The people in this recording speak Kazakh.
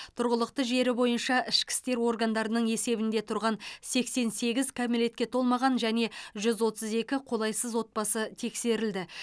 тұрғылықты жері бойынша ішкі істер органдарының есебінде тұрған сексен сегіз кәмелетке толмаған және жүз отыз екі қолайсыз отбасы тексерілді